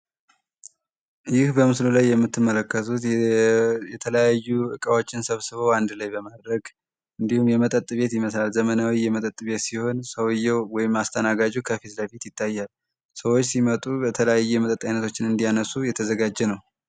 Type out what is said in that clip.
ይህ በምስሉ ላይ የምትመለከሱት የተለያዩ ዕቃዎችን ሰብስቦ አንድ ላይ በማድረግ እንዲሁም የመጠጥ ቤት ይመሰላል ዘመናዊ የመጠጥ ቤት ሲሆን ሰው የው ወይም አስተናጋጁ ከፊዝ ለፊት ይታያል ሰዎች ሲመጡ በተላያየ የመጠጥ አይነቶችን እንዲያነሱ የተዘጋጅ ነው፡፡